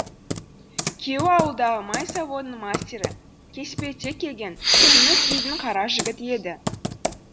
күйеуі ауылдағы май заводының мастері кеспелтек келген жүніс дейтін қара жігіт еді